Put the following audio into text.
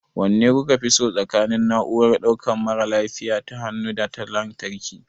Wanne kuka fi so tsakanin na'urar ɗaukan mara lafiya ta hannu da ta lantarki?